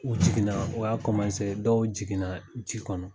U jigin na o y'a dɔw jigin na ji kɔnɔ.